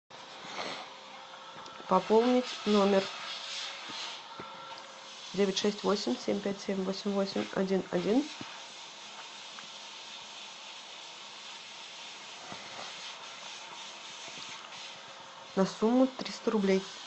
пополнить номер девять шесть восемь семь пять семь восемь восемь один один на сумму триста рублей